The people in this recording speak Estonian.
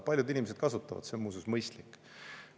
Paljud inimesed kasutavad, see on muuseas mõistlik.